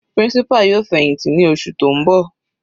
Principal yóò fẹ̀hìntì ní oṣù tó ń bọ̀.